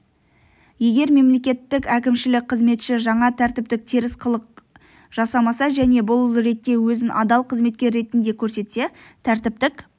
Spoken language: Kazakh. егер мемлекеттік әкімшілік қызметші жаңа тәртіптік теріс қылық жасамаса және бұл ретте өзін адал қызметкер ретінде көрсетсе тәртіптік